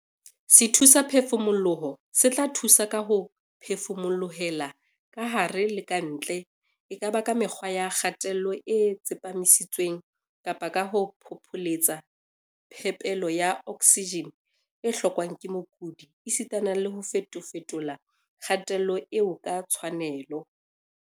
Sethusaphefumoloho se tla thusa ka ho phefumolohela kahare le ka ntle, e ka ba ka mekgwa ya kgatello e tsepamisitsweng kapa ka ho phopholetsa phepelo ya oksijene e hlokwang ke mokudi esita le ho fetofetola kgatello eo ka tshwanelo.